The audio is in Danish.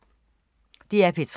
DR P3